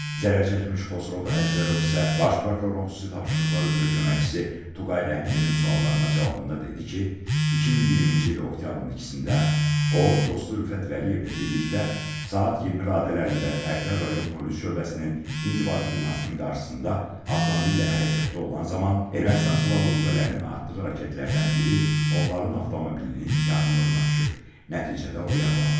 Zərər çəkmiş Xosrov Əjdərov isə Baş Prokurorun Xüsusi Tapşırıqlar üzrə Köməkçisi Tuqay Rəhimlinin suallarına cavabında dedi ki, 2020-ci il oktyabrın 2-də o, dostu Rüfət Vəliyevlə birlikdə saat 20 radələrində Tərtər rayon polis şöbəsinin inzibati binasının qarşısında avtomobillə hərəkətdə olan zaman Ermənistan Silahlı Qüvvələrinin atdığı raketlərdən biri onların avtomobilinin yaxınlığına düşüb, nəticədə o yaralanıb.